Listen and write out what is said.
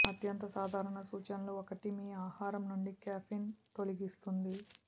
అత్యంత సాధారణ సూచనలు ఒకటి మీ ఆహారం నుండి కెఫిన్ తొలగిస్తోంది